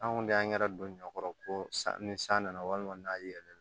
Anw de y'an yɛrɛ don ɲɔ kɔrɔ ko ni san nana walima n'a yɛlɛ